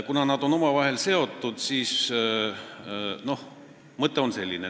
Kuna nad on omavahel seotud, siis mõte on selline.